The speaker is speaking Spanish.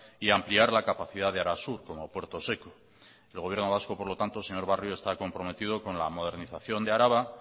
y ampliar la capacidad de arasur como puerto seco el gobierno vasco por lo tanto señor barrio está comprometido con la modernización de araba